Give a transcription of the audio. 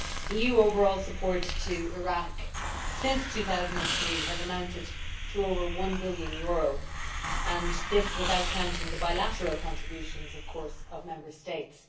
EU overall support to Iraq since 2003 has amounted to over EUR 1 billion, and this, of course, without counting the bilateral contributions of Member States.